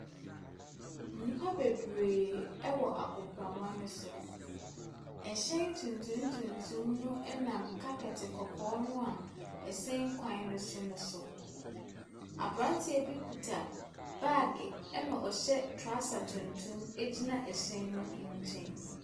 Nnipa bebree wɔ agoprama no so. Ɛhyɛn tuntum tuntum no nam carpet kɔkɔɔ no a ɛsɛn kwan no so no so. Aberanteɛ bi kita baage ɛna ɔhyɛ trɔsa tuntum gyina ɛhyɛn no nkyɛn.